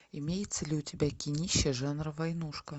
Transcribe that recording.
имеется ли у тебя кинище жанра войнушка